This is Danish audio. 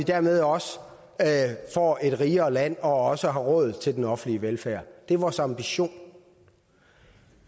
dermed også får et rigere land og også har råd til den offentlige velfærd det er vores ambition